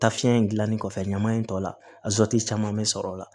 Tafiɲɛ in gilannen kɔfɛ ɲaman in tɔ la a caman bɛ sɔrɔ o la